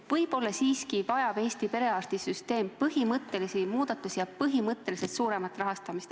Võib-olla vajab Eesti perearstisüsteem siiski põhimõttelisi muudatusi ja põhimõtteliselt suuremat rahastamist.